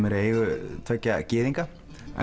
er í eigu tveggja gyðinga